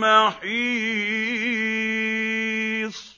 مَّحِيصٍ